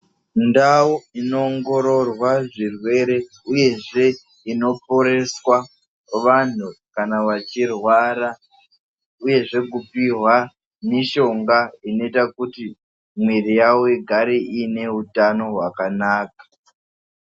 Mundau inoongororwa zvirwere uyezve inoporeswa vantu kana vachirwara uye zve kupiwa mishonga kuti mwiri yavo igare iine utano hwakanaka.